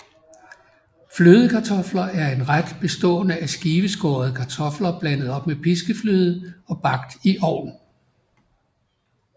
Flødekartofler er en ret bestående af skiveskårede kartofler blandet op med piskefløde og bagt i ovn